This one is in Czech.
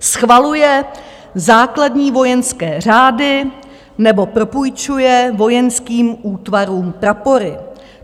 Schvaluje základní vojenské řády nebo propůjčuje vojenským útvarům prapory.